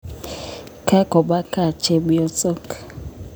Kakopa kaa chepyosok